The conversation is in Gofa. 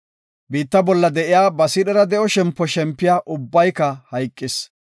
Biitta bolla de7iya ba siidhera de7o shempo shempiya ubbayka hayqis.